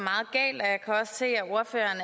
meget se at ordføreren